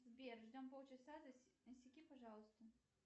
сбер ждем полчаса засеки пожалуйста